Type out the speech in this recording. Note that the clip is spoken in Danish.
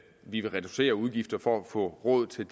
vi vil reducere udgifter for at få råd til